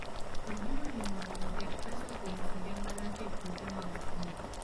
Ojiwo ji mondo oket pesa kuom kinde malach e puothe mag pur.